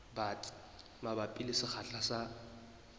batsi mabapi le sekgahla sa